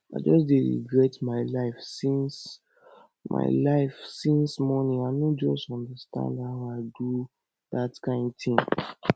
i just dey regret my life since my life since morning i no just understand how i do dat kin thing